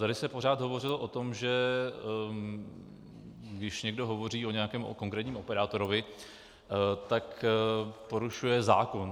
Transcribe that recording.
Tady se pořád hovořilo o tom, že když někdo hovoří o nějakém konkrétním operátorovi, tak porušuje zákon.